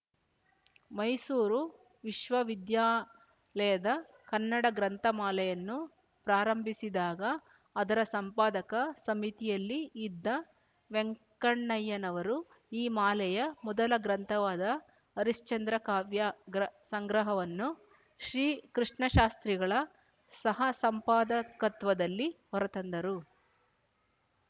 ಮೈಸೂರು ವಿಶ್ವವಿದ್ಯಾಲಯದ ಕನ್ನಡ ಗ್ರಂಥಮಾಲೆಯನ್ನು ಪ್ರಾರಂಭಿಸಿದಾಗ ಅದರ ಸಂಪಾದಕ ಸಮಿತಿಯಲ್ಲಿ ಇದ್ದ ವೆಂಕಣ್ಣಯ್ಯನವರು ಈ ಮಾಲೆಯ ಮೊದಲ ಗ್ರಂಥವಾದ ಹರಿಶ್ಚಂದ್ರ ಕಾವ್ಯ ಗ್ರ ಸಂಗ್ರಹವನ್ನು ಶ್ರೀ ಕೃಷ್ಣಶಾಸ್ತ್ರಿಗಳ ಸಹಸಂಪಾದಕತ್ವದಲ್ಲಿ ಹೊರತಂದರು